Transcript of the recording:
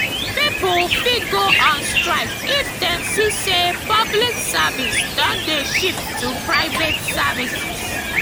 pipo fit go on strike if dem see say public service don de shift to private services